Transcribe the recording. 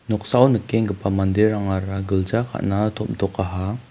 noksao nikenggipa manderangara gilja ka·na tom·tokaha.